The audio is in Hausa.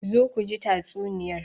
Zo ku ji tatsuniyar.